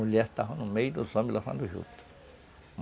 Mulheres estavam no meio dos homens lavando juta.